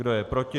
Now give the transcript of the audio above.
Kdo je proti?